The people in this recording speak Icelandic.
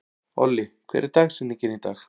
Olli, hver er dagsetningin í dag?